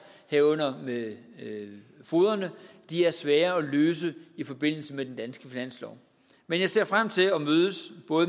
herunder med fogederne svære at løse i forbindelse med den danske finanslov men jeg ser frem til at mødes